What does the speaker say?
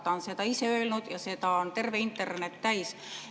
Ta on seda ise öelnud ja seda on terve internet täis.